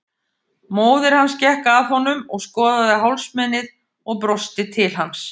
Móðir hans gekk að honum og skoðaði hálsmenið og brosti til hans.